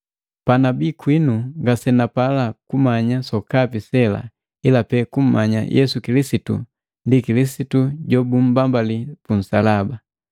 Panabi kwinu ngasenapala kumanya sokapi sela ila pee kumanya Yesu Kilisitu ndi Kilisitu jobumbambali punsalaba.